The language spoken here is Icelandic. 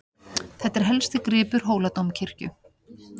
Þetta er helsti gripur Hóladómkirkju.